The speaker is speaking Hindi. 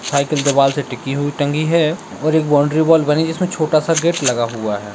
साइकिल दीवाल से टिकी हुई टंगी है और एक बाउंड्री वॉल बनी है जिसमें छोटा-सा गेट लगा हुआ है।